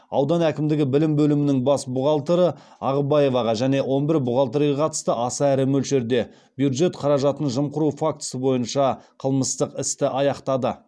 аудан әкімдігі білім бөлімінің бас бухгалтері ағыбаеваға және он бір бухгалтерге қатысты аса ірі мөлшерде бюджет қаражатын жымқыру фактісі бойынша қылмыстық істі аяқтады